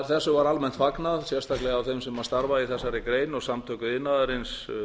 þessu var almennt fagnað sérstaklega af þeim sem starfa í þessari grein og samtök iðnaðarins